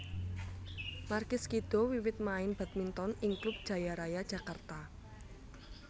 Markis Kido wiwit main badminton ing klub Jaya Raya Jakarta